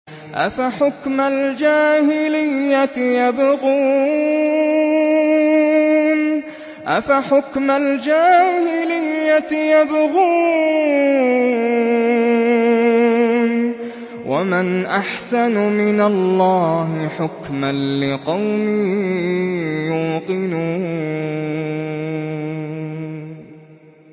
أَفَحُكْمَ الْجَاهِلِيَّةِ يَبْغُونَ ۚ وَمَنْ أَحْسَنُ مِنَ اللَّهِ حُكْمًا لِّقَوْمٍ يُوقِنُونَ